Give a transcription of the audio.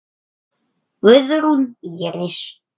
Guðrún Íris.